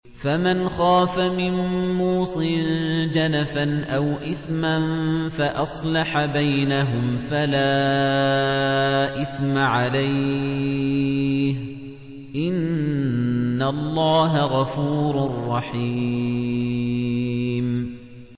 فَمَنْ خَافَ مِن مُّوصٍ جَنَفًا أَوْ إِثْمًا فَأَصْلَحَ بَيْنَهُمْ فَلَا إِثْمَ عَلَيْهِ ۚ إِنَّ اللَّهَ غَفُورٌ رَّحِيمٌ